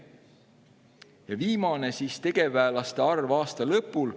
Ja viimane on "Tegevväelaste arv aasta lõpul".